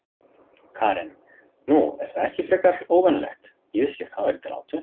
Karen: Nú, er það ekki frekar óvenjulegt, ég vissi ekki að það væri til átu?